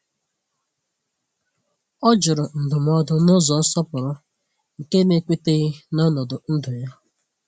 O jụrụ ndụmọdụ n’ụzọ nsọpụrụ nke na-ekweteghi na ọnọdụ ndụ ya.